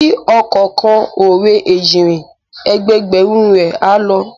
Bí ọkọ̀ kan ò re Èjìnrìn, ẹgbẹẹgbẹ̀rún ẹ á lọ